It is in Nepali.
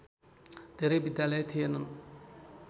धेरै विद्यालय थिएनन्